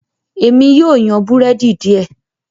Èmi yíò yan Búrẹ́dì diẹ